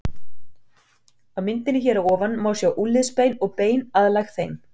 Á myndinni hér að ofan má sjá úlnliðsbein og bein aðlæg þeim.